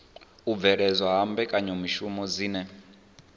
u bveledzwa ha mbekanyamishumo dzine